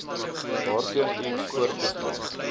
waarteen iets voortbestaan